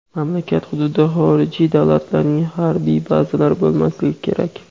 mamlakat hududida xorijiy davlatlarning harbiy bazalari bo‘lmasligi kerak.